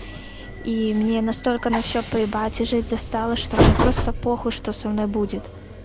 и мне настолько на все поебать и жить застала что у меня просто похуй что со мной будет